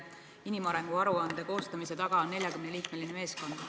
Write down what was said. Selle inimarengu aruande koostamise taga on 40-liikmeline meeskond.